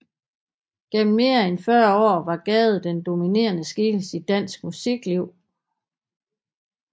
Gennem mere end fyrre år var Gade den dominerende skikkelse i dansk musikliv